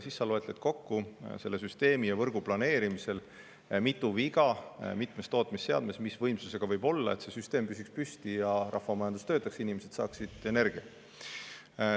Nii tuleb süsteemi ja võrgu planeerimisel kokku lugeda, mitu viga mitmes võimsusega tootmisseadmes võib olla, et süsteem seisaks püsti ja rahvamajandus töötaks, et inimesed saaksid energiat.